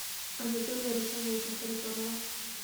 анатолия руслановича харитонова